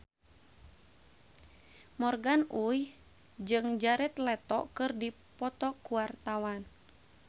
Morgan Oey jeung Jared Leto keur dipoto ku wartawan